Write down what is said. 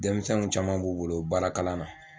Denmisɛnw caman b'u bolo baara kalan na